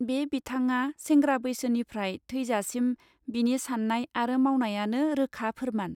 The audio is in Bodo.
बे बिथांग्या सेंग्रा बैसोनिफ्राय थैजासिम बिनि साननाय आरो मावनायानो रोखा फोरमान.